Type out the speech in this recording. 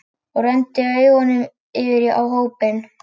Og renndi augunum yfir á hópinn.